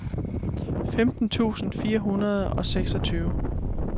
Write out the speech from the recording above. femten tusind fire hundrede og seksogtyve